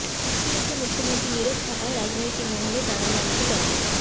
মোদীর বিরুদ্ধে মুখ্যমন্ত্রীর নীরব থাকায় রাজনৈতিক মহলে দানা বাঁধছে জল্পনা